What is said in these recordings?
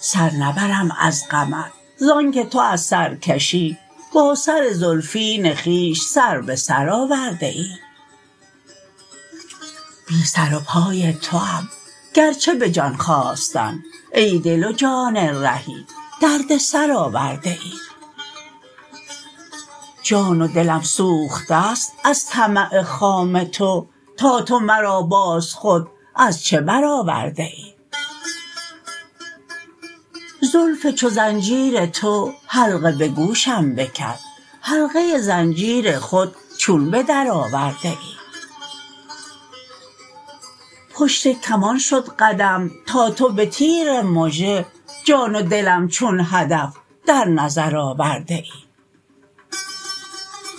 سر نبرم از غمت زانکه تو از سرکشی با سر زلفین خویش سر به سر آورده ای بی سر و پای توام گرچه به جان خواستن ای دل و جان رهی دردسر آورده ای جان و دلم سوخته است از طمع خام تو تا تو مرا باز خود از چه برآورده ای زلف چو زنجیر تو حلقه به گوشم بکرد حلقه زنجیر خود چون به درآورده ای پشت کمان شد قدم تا تو به تیر مژه جان و دلم چون هدف در نظر آورده ای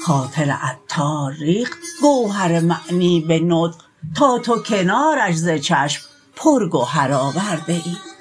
خاطر عطار ریخت گوهر معنی به نطق تا تو کنارش ز چشم پر گهر آورده ای